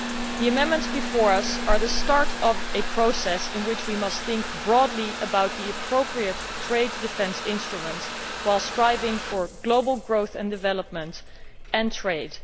The amendments before us are the start of a process in which we must think broadly about the appropriate trade defence instruments while striving for global growth and development and trade.